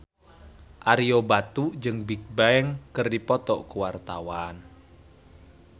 Ario Batu jeung Bigbang keur dipoto ku wartawan